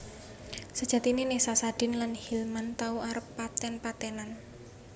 Sejatiné Nessa Sadin lan Hilman tau arep paten patenan